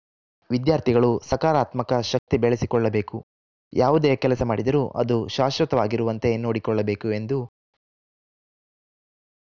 ವಿದ್ಯಾರ್ಥಿಗಳು ಸಕಾರಾತ್ಮಕ ಶಕ್ತಿ ಬೆಳೆಸಿಕೊಳ್ಳಬೇಕು ಯಾವುದೇ ಕೆಲಸ ಮಾಡಿದರೂ ಅದು ಶಾಶ್ವತವಾಗಿರುವಂತೆ ನೋಡಿಕೊಳ್ಳಬೇಕು ಎಂದು